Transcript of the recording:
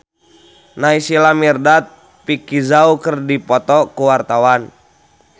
Naysila Mirdad jeung Vicki Zao keur dipoto ku wartawan